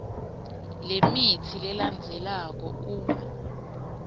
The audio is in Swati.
lemitsi lelandzelako uma